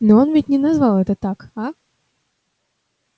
но ведь он не назвал это так а